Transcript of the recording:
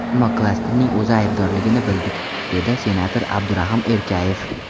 Ammo klasterning o‘zi aybdorligini bildik”, dedi senator Abdurahim Erkayev.